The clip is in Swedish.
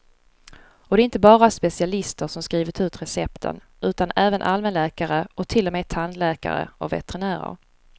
Och det är inte bara specialister som skrivit ut recepten, utan även allmänläkare och till och med tandläkare och veterinärer.